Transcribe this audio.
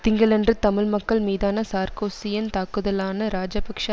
திங்களன்று தமிழ் மக்கள் மீதான சார்க்கோசியின் தாக்குதலான ராஜபக்ச